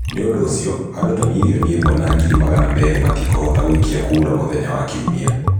Nĩ ũndũ ũcio, andũ ta milioni mirioni ĩmwe na ngiri magana meerĩ matikũhota gũikia kuramũthenya wa kiumia.